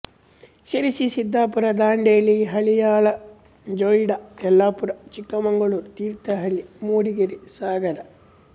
Sirsi Siddapur Dandeli Haliyal Joida Yellapur Chikkamagaluru Thirthahalli Mudigere Sagara